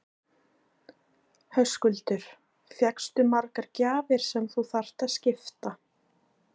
Höskuldur: Fékkstu margar gjafir sem þú þarft að skipta?